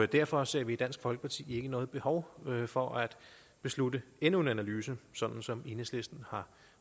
derfor ser vi i dansk folkeparti ikke noget behov for at beslutte at endnu en analyse som som enhedslisten